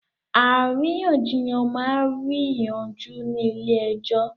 Àríyànjiyàn máa rí yí yanjú ni ilẹ̀ èjò